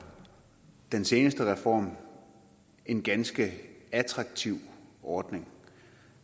den seneste reform en ganske attraktiv ordning